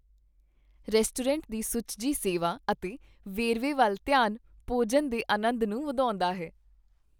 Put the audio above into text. Restaurant ਦੀ ਸੁਚੱਜੀ ਸੇਵਾ ਅਤੇ ਵੇਰਵੇ ਵੱਲ ਧਿਆਨ ਭੋਜਨ ਦੇ ਆਨੰਦ ਨੂੰ ਵਧਾਉਂਦਾ ਹੈ।